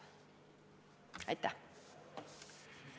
Aitäh!